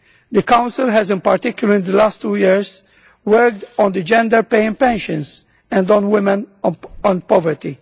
The Council has, in particular in the last two years, worked on the gender pay and pensions and on women in poverty.